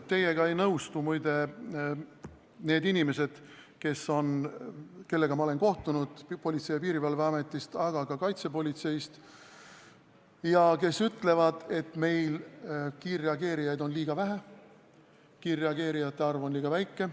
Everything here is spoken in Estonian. Teiega ei nõustu, muide, need inimesed, kellega ma olen kohtunud Politsei- ja Piirivalveametis, aga ka kaitsepolitseis ja kes ütlevad, et meil on kiirreageerijaid liiga vähe, kiirreageerijate arv on liiga väike.